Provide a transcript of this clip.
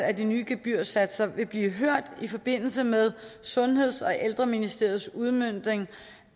af de nye gebyrsatser vil blive hørt i forbindelse med sundheds og ældreministeriets udmøntning